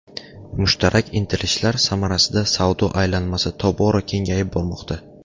Mushtarak intilishlar samarasida savdo aylanmasi tobora kengayib bormoqda.